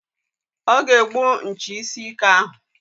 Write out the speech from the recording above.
Ọ ga-egbu nchi isi ike ahụ.